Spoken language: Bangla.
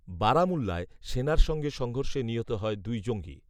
বারামুল্লায়, সেনার সঙ্গে সংঘর্ষে নিহত হয় দুই জঙ্গি